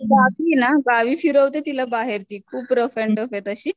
बाकीये ना गावी फिरवते तिला बाहेर ती, खूप रफ अँड टफे तशी.